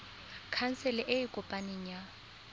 khansele e e kopaneng ya